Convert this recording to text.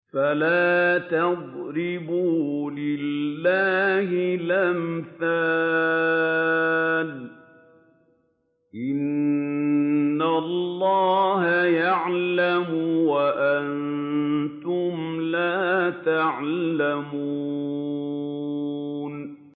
فَلَا تَضْرِبُوا لِلَّهِ الْأَمْثَالَ ۚ إِنَّ اللَّهَ يَعْلَمُ وَأَنتُمْ لَا تَعْلَمُونَ